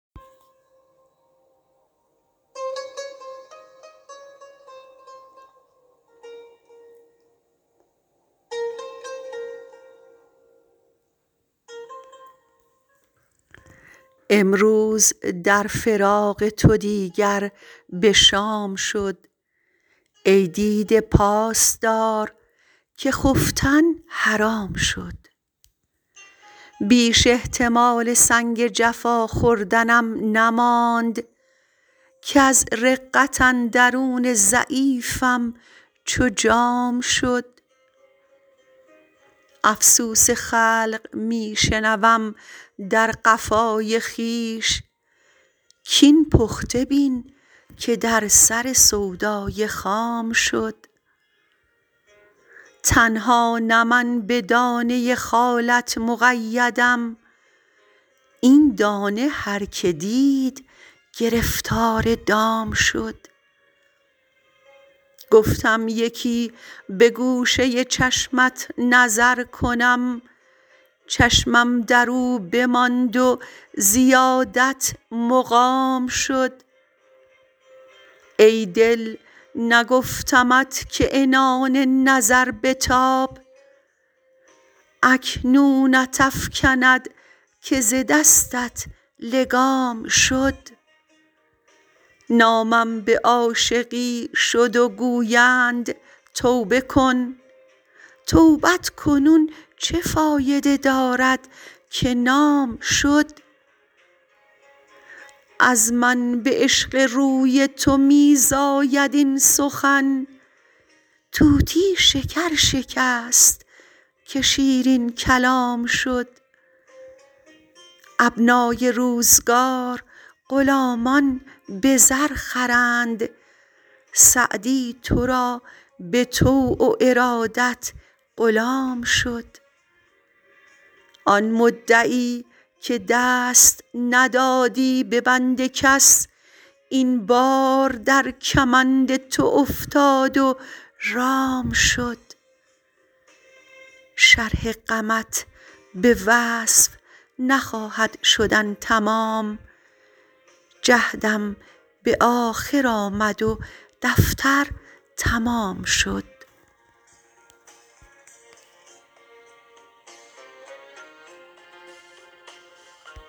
امروز در فراق تو دیگر به شام شد ای دیده پاس دار که خفتن حرام شد بیش احتمال سنگ جفا خوردنم نماند کز رقت اندرون ضعیفم چو جام شد افسوس خلق می شنوم در قفای خویش کاین پخته بین که در سر سودای خام شد تنها نه من به دانه خالت مقیدم این دانه هر که دید گرفتار دام شد گفتم یکی به گوشه چشمت نظر کنم چشمم در او بماند و زیادت مقام شد ای دل نگفتمت که عنان نظر بتاب اکنونت افکند که ز دستت لگام شد نامم به عاشقی شد و گویند توبه کن توبت کنون چه فایده دارد که نام شد از من به عشق روی تو می زاید این سخن طوطی شکر شکست که شیرین کلام شد ابنای روزگار غلامان به زر خرند سعدی تو را به طوع و ارادت غلام شد آن مدعی که دست ندادی به بند کس این بار در کمند تو افتاد و رام شد شرح غمت به وصف نخواهد شدن تمام جهدم به آخر آمد و دفتر تمام شد